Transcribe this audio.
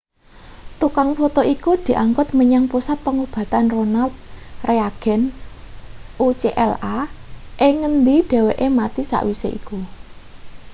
tukang foto iku diangkut menyang pusat pengobatan ronald reagen ucla ing ngendi dheweke mati sawise iku